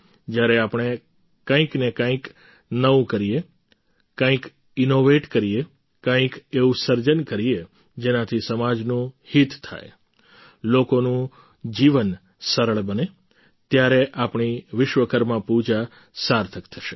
જ્યારે આપણે કંઈકને કંઈક નવું કરીએ કંઈક ઈનોવેટ કરીએ કંઈક એવું સર્જન કરીએ જેનાથી સમાજનું હિત થાય લોકોનું જીવન સરળ બને ત્યારે આપણી વિશ્વકર્મા પૂજા સાર્થક થશે